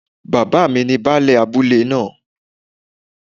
Bàbá mi ni Baálẹ̀ abúlé náà